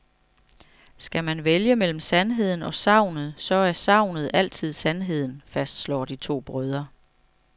Skal man vælge mellem sandheden og sagnet, så er sagnet altid sandheden, fastslår de to brødre.